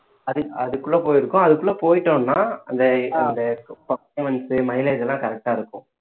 அது அதுக்குள்ள போயிருக்கும் அதுக்குள்ள போயிட்டோம்ன்னா அந்த அந்த mileage எல்லாம் correct ஆ இருக்கும்